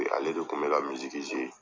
E ale de kun be ka